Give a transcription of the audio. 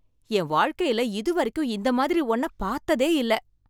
என் வாழ்க்கையில இதுவரைக்கும் இந்த மாதிரி ஒன்ன பார்த்ததே இல்ல